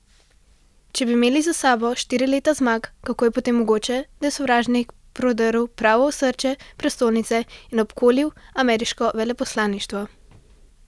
Če bi imeli za sabo štiri leta zmag, kako je potem mogoče, da je sovražnik prodrl prav v osrčje prestolnice in obkolil ameriško veleposlaništvo?